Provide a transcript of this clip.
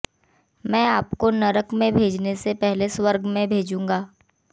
मैं आपको नरक में भेजने से पहले स्वर्ग में भेजूंगा